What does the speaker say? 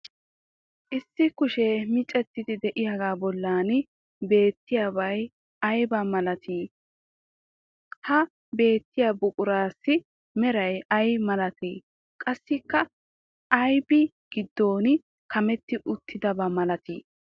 Issi kushee miccettidi de'iyaaga bollan beettiyabay aybaa malatii? Ha beettiya buquraasi meray ay maltinnee? Qassikka aybi giddon kametti uttidaba malatii?